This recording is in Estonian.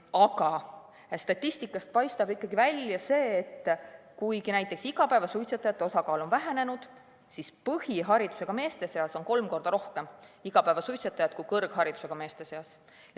Aga statistikast paistab ikkagi välja see, et kuigi näiteks igapäevasuitsetajate osakaal on vähenenud, siis põhiharidusega meeste seas on kolm korda rohkem igapäevasuitsetajad kui kõrgharidusega meeste seas.